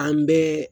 An bɛɛ